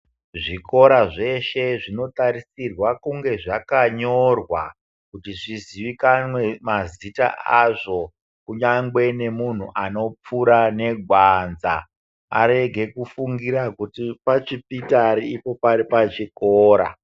Zvikora zveshe zvinotarisirwa kunge zvakanyorwa kuti zviziwikanwe mazita azo , kunyangwe nemunhu anopfura negwanza , arege kufungira kuti pachipitari ipo paripachikora.